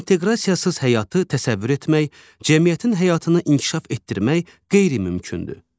İnteqrasiyasız həyatı təsəvvür etmək, cəmiyyətin həyatını inkişaf etdirmək qeyri-mümkündür.